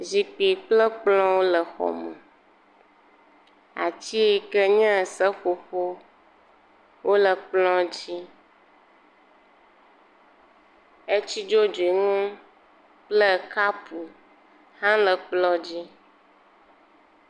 Zikpi kple kplɔ̃wo le xɔme. ats iyi ke nye seƒoƒo wole kplɔ̃dzi. Etsi dzodzoe nu kple kaapo hele kplɔ̃dzi.